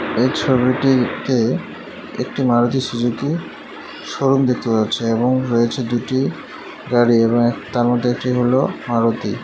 এই ছবিটিতে একটি মারুতি সুজুকি শোরুম দেখতে পাচ্ছি এবং রয়েছে দুটি গাড়ি এবং এক তার মধ্যে একটি হল মারুতি।